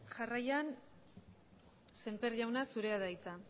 jarraian semper jaunak zurea da hitza